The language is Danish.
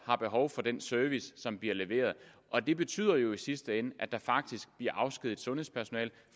har behov for den service som bliver leveret det betyder jo i sidste ende at der faktisk bliver afskediget sundhedspersonale